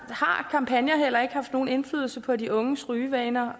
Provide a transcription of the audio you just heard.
har kampagner heller ikke haft nogen indflydelse på de unges rygevaner